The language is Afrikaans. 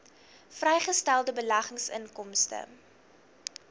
vrygestelde beleggingsinkomste